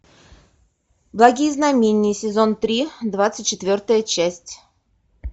благие знамения сезон три двадцать четвертая часть